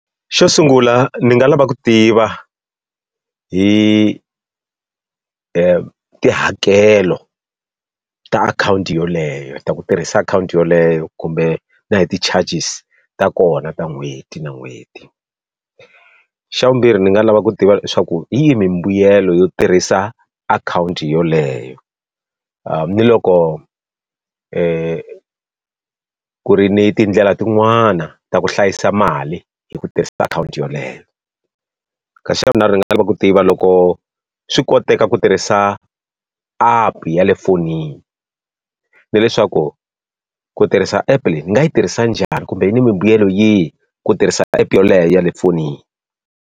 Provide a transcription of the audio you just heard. Xo sungula ndzi nga lava ku tiva hi tihakelo ta akhawunti yoleyo, ta ku tirhisa akhawunti yoleyo kumbe na hi ti charges ta kona ta n'hweti na n'hweti. Xa vumbirhi ndzi nga lava ku tiva leswaku hi yihi mbuyelo yo tirhisa akhawunti yoleyo? ni loko ku ri ni tindlela tin'wana ta ku hlayisa mali hi ku tirhisa akhawunti yeleyo? Ka xa vunharhu lexi ni nga ta lava ku tiva loko swi koteka ku tirhisa app ya le fonini, na leswaku ku tirhisa app-e leyi ni nga yi tirhisa njhani kumbe yini mimbuyelo yihi, ku tirhisana app yoleyo ya le fonini?